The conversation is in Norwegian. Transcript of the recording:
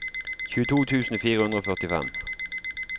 tjueto tusen fire hundre og førtifem